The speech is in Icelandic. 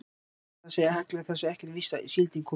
En það segja allir að það sé ekkert víst að síldin komi.